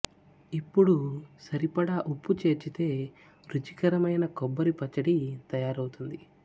ఇప్పుడు సరిపడా ఉప్పు చేర్చితే రుచికరమైన కొబ్బరి పచ్చడి తయారు అవుతుంది